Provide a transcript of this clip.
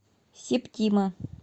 септима